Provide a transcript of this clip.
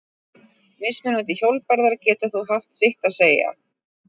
Mismunandi hjólbarðar geta þó haft sitt að segja.